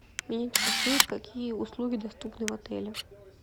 меня интересует какие услуги доступны в отеле